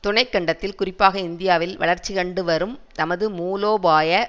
துணைக்கண்டத்தில் குறிப்பாக இந்தியாவில் வளர்ச்சிகண்டுவரும் தமது மூலோபாய